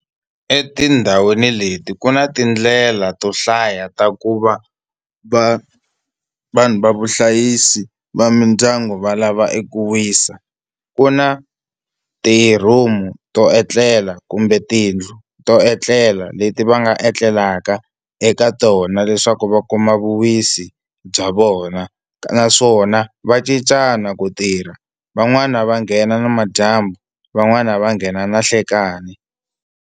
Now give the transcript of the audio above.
Etindhawini leti ku na tindlela to hlaya ta ku va va vanhu va vuhlayisi va mindyangu va lava eku wisa ku na ti-room-u to etlela kumbe tiyindlu to etlela leti va nga etlelaka eka tona leswaku va kuma vuwisi bya vona naswona va cincana ku tirha van'wani va nghena namadyambu van'wani va nghena nanhlikani.